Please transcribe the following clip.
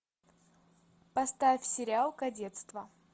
поставь сериал кадетство